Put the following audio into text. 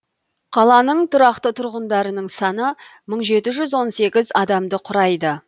қаланың тұрақты тұрғындарының саны мың жеті жүз он сегіз адамды құрайды